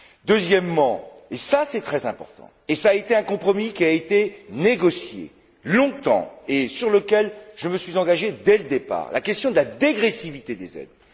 Deuxièmement, et c'est très important, c'est un compromis qui a été négocié longtemps et sur lequel je me suis engagé dès le départ la question de la dégressivité des aides.